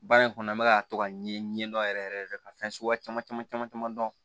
Baara in kɔnɔ an bɛka to ka ɲɛdɔn yɛrɛ yɛrɛ ka fɛn suguya caman caman caman caman dɔn